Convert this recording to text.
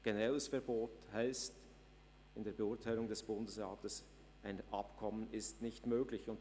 Ein generelles Verbot bedeutet in der Beurteilung des Bundesrats, dass ein Abkommen nicht möglich ist.